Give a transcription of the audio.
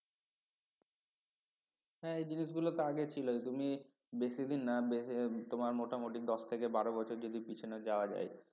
হ্যাঁ এই জিনিস গুলো তো আগে ছিল তুমি বেশিদিন না তোমার মোটামোটি দশ থেকে বারো বছর যদি পিছনে যাওয়া যায়